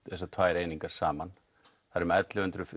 þessar tvær einingar saman það er um ellefu hundruð